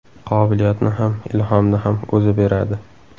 Qobiliyatni ham, ilhomni ham O‘zi beradi.